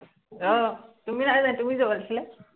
আহ তুমি নাই যোৱা, তুমি যাব লাগিছিলে